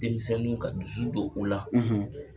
Denmisɛnninw ka dusu don o la.